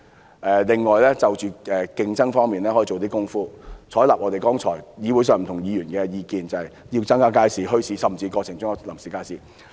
政府亦可以在競爭方面做些工夫，採納剛才不同議員提出的意見，即增設街市、墟市，甚至臨時街市。